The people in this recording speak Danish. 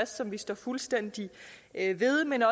som vi står fuldstændig ved men